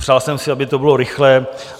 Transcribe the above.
Přál jsem si, aby to bylo rychlé.